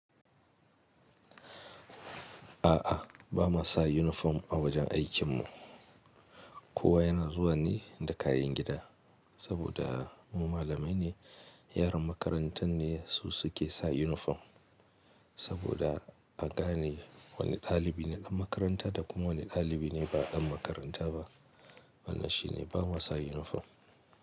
A'a, ba mu sa uniform a wajen aikinmu. Kowa yana zuwa ne da kayan gida. Saboda mu malamai ne, yaran makarantar ne su suke sa uniform. Saboda a gane wane dalibi ne ɗan makaranta da kuma wane dalibi ne ba ɗan makaranta ba. Wannan shi ne bama sa uniform.